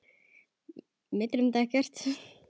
Mig dreymdi ekkert.